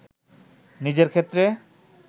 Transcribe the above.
নিজের ক্ষেত্রে